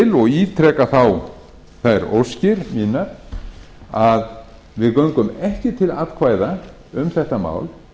og ítreka þá þær óskir mínar að við göngum ekki til atkvæða um þetta mál